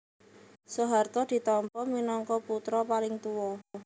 Soeharto ditampa minangka putra paling tuwa